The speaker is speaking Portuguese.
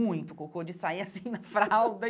Muito cocô, de sair assim na fralda.